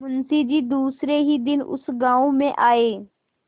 मुँशी जी दूसरे ही दिन उस गॉँव में आये